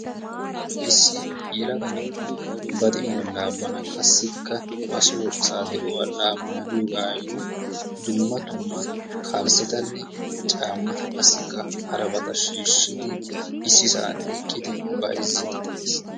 issi yelaga na'ay ba de'uwa laammana qassikka ba soo asa de'uwaa laammana giyoogayyo dumma dumma kalissetanne caammata qassikka harabata shiishshiidi issisan eqqidi bayzzidi dees.